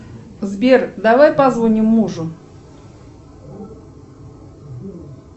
сбер давай позвоним мужу